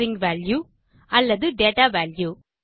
string value அல்லது data value